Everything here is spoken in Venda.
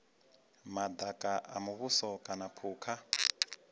madaka a muvhuso kana phukha